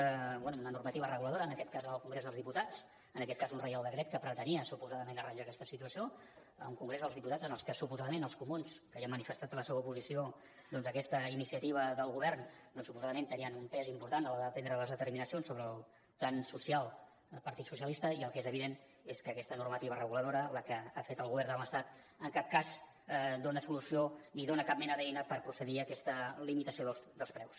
bé una normativa reguladora en aquest cas en el congrés dels diputats en aquest cas un reial decret que pretenia suposadament arranjar aquesta situació un congrés dels diputats en el qual els comuns que ja han manifestat la seva oposició doncs a aquesta iniciativa del govern suposadament tenien un pes important a l’hora de prendre les determina cions sobre el tan social partit socialista i el que és evident és que aquesta normativa reguladora la que ha fet el govern de l’estat en cap cas dona solució ni dona cap mena d’eina per procedir a aquesta limitació dels preus